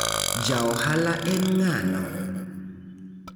Jaohala en ng'ano?